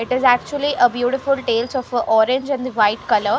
It is actually a beautiful tales of a orange and the white color.